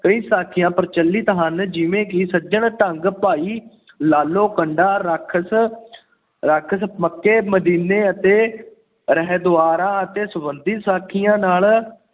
ਕਈ ਸਾਖੀਆਂ ਪ੍ਰਚਲਿਤ ਹਨ, ਜਿਵੇਂ ਕਿ ਸੱਜਣ ਠੱਗ, ਭਾਈ ਲਾਲੋ, ਕੰਡਾ ਰਾਖਸ਼, ਰਾਖਸ਼, ਮੱਕੇ-ਮਦੀਨੇ ਅਤੇ ਹਰਿਦੁਆਰ ਅਤੇ ਸੰਬੰਧਿਤ ਸਾਖੀਆਂ ਨਾਲ।